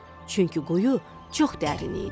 Çünki quyu çox dərin idi.